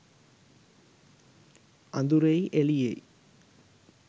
අඳුරෙයි එළියෙයි